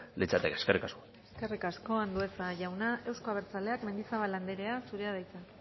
litzateke eskerrik asko eskerrik asko andueza jauna euzko abertzaleak mendizabal andrea zurea da hitza